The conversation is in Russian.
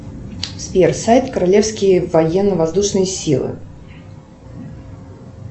сбер сайт королевские военно воздушные силы